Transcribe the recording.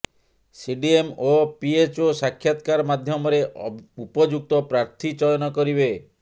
CDM ଓ PHO ସାକ୍ଷାତକାର ମାଧ୍ୟମରେ ଉପଯୁକ୍ତ ପ୍ରାର୍ଥୀ ଚୟନ କରିବେ